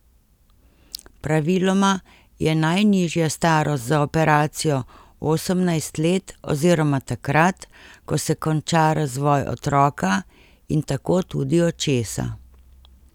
Praviloma je najnižja starost za operacijo osemnajst let oziroma takrat, ko se konča razvoj otroka in tako tudi očesa.